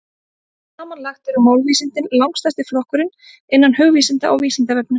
Samanlagt eru málvísindin langstærsti flokkurinn innan hugvísinda á Vísindavefnum.